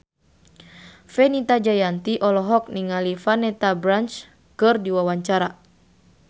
Fenita Jayanti olohok ningali Vanessa Branch keur diwawancara